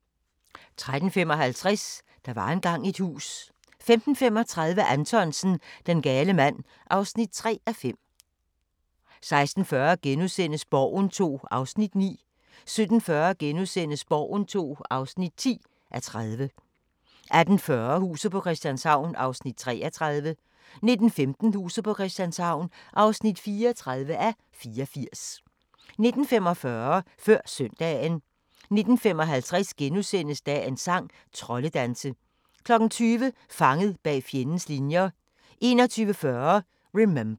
13:55: Der var engang et hus 15:35: Anthonsen - Den gale mand (3:5) 16:40: Borgen II (9:30)* 17:40: Borgen II (10:30)* 18:40: Huset på Christianshavn (33:84) 19:15: Huset på Christianshavn (34:84) 19:45: Før Søndagen 19:55: Dagens sang: Troldedanse * 20:00: Fanget bag fjendens linjer 21:40: Remember